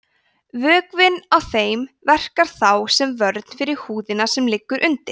vökvinn í þeim verkar þá sem vörn fyrir húðina sem liggur undir